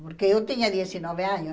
Porque eu tinha dezenove anos.